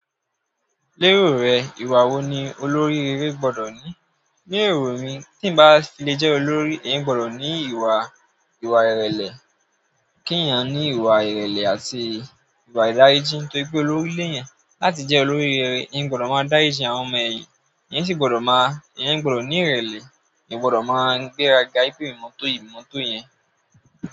Lérò rẹ, ìwà wo ni olórí eré gbọ́dọ̀ ní? Ní èrò mí tí n bá filé jẹ́ olórí, èyan gbọ́dọ̀ ní ìwà, ìwà ìrẹ̀lẹ̀. Kí ènìyàn ní ìwà ìrẹ̀lẹ̀ àti ìwà ìdárijí nítorí pé olórí ilé yẹn. Láti jẹ́ olórí eré, èyan gbọ́dọ̀ máa dáriji àwọn ọmọ èyìn, èyan sì gbọ́dọ̀ máa, èyan gbọ́dọ̀ ní ìrẹ̀lẹ̀, èyan o gbọ́dọ̀ máa gbéraga wìpè emì ni mọ́tọ̀ yìí, emi n mọ́tọ̀ yẹn.